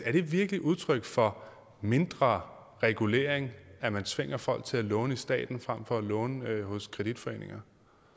er det virkelig udtryk for mindre regulering at man tvinger folk til at låne i staten frem for at låne hos kreditforeninger